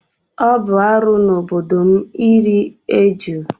Ọ bụ arụ n'obodo m iri ejù.